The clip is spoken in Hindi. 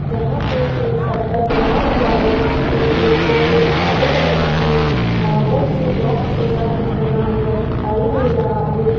जहां पे एक सर्कल बना हुआ है जिस पे एक चौकोर काले कलर के मार्बल से बॉक्स जैसा कुछ बना हुआ दिखाई दे रहा है।